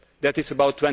That is about